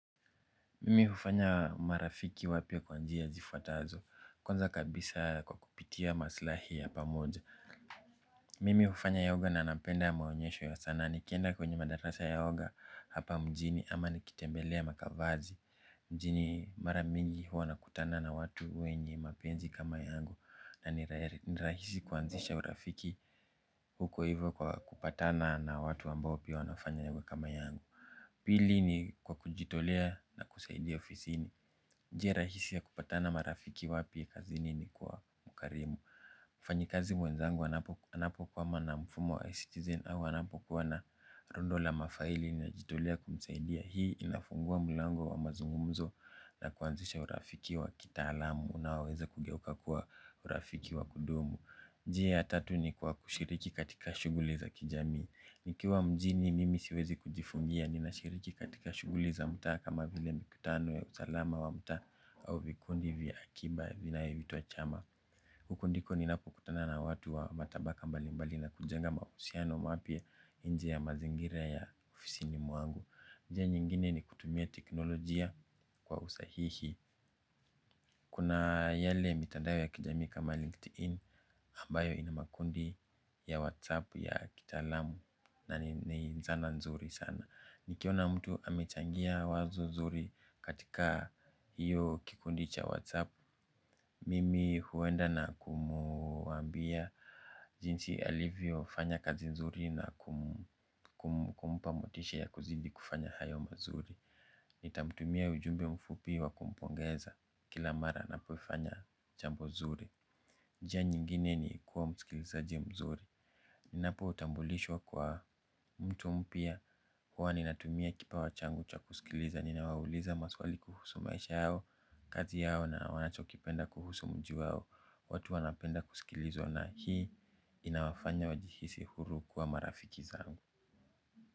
Mimi hufanya marafiki wapya kwa njia zifuatazo kwanza kabisa kwa kupitia maslahi ya pamoja. Mimi hufanya yoga na napenda maonyesho ya sanaa nikienda kwenye madarasa ya yoga hapa mjini ama nikitembelea makavazi mjini mara mingi huwa nakutana na watu wenye mapenzi kama yangu na ni rahisi kuanzisha urafiki huko hivyo kwa kupatana na watu ambao pia wanafanya yawe kama yangu. Pili ni kwa kujitolea na kusaidia ofisini njia rahisi ya kupata marafiki wapya kazini ni kuwa mkarimu. Mfanyikazi mwenzangu anapokwama na mfumo wa Ecitizen au anapokuwa na rundo la mafaili najitolea kumsaidia hii inafungua mlango wa mazungumzo na kuanzisha urafiki wa kitaalamu unaoweza kugeuka kuwa urafiki wa kudumu. Njia ya tatu ni kwa kushiriki katika shuguli za kijamii nikiwa mjini mimi siwezi kujifungia, ninashiriki katika shughuli za mtaa kama vile mikutano ya usalama wa mtaa au vikundi vya akiba vinavyoitwa chama. Huku ndiko ninakokutana na watu wa matabaka mbalimbali na kujenga mahusiano mapya nje ya mazingira ya ofisini mwangu. Njia nyingine ni kutumia teknolojia kwa usahihi. Kuna yale mitandao ya kijami kama LinkedIn ambayo ina makundi ya WhatsApp ya kitaalamu na ni nzana nzuri sana. Nikiona mtu amechangia wazo zuri katika hiyo kikundi cha WhatsApp. Mimi huenda na kumwambia jinsi alivyofanya kazi nzuri na kumpa motisha ya kuzidi kufanya hayo mazuri. Nitamtumia ujumbe mfupi wa kumpongeza kila mara apofanya jambo zuri. Njia nyingine ni kuwa msikilizaji mzuri. Ninapotambulishwa kwa mtu mpya huwa ninatumia kipawa changu cha kusikiliza ninawauliza maswali kuhusu maisha yao, kazi yao na wanachokipenda kuhusu mji wao watu wanapenda kusikilizwa na hii inawafanya wajihisi huru kuwa marafiki zangu.